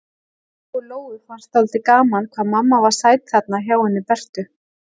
Lóu-Lóu fannst dálítið gaman hvað mamma var sæt þarna hjá henni Bertu.